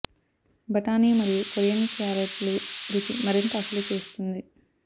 బఠానీ మరియు కొరియన్ క్యారెట్లు రుచి మరింత అసలు చేస్తుంది